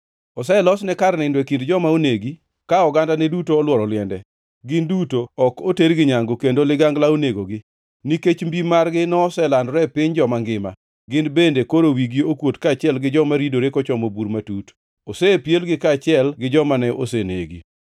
Oselosne kar nindo e kind joma onegi, ka ogandane duto olworo liende. Gin duto ok otergi nyangu, kendo ligangla onegogi. Nikech mbi margi noselandore e piny joma ngima, gin bende koro wigi okuot kaachiel gi joma ridore kochomo bur matut; osepielgi kaachiel gi joma ne osenegi.